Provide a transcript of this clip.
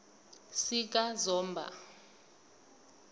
sikazomba